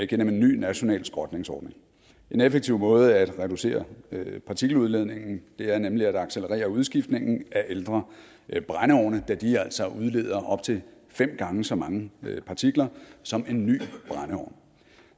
gennem en ny national skrotningsordning en effektiv måde at reducere partikeludledningen er nemlig at accelerere udskiftningen af ældre brændeovne da de altså udleder op til fem gange så mange partikler som en ny brændeovn